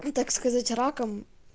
и так сказать раком